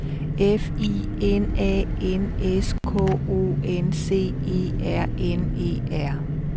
F I N A N S K O N C E R N E R